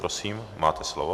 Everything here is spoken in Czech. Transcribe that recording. Prosím, máte slovo.